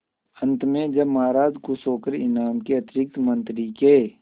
अंत में जब महाराज खुश होकर इनाम के अतिरिक्त मंत्री के